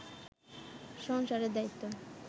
সংসারে দায়িত্ব